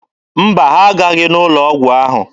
Mba, ha aghaghị n'ụlọ ọgwụ ahụ.